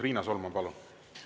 Riina Solman, palun!